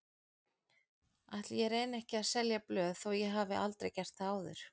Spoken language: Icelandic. Ætli ég reyni ekki að selja blöð þó ég hafi aldrei gert það áður.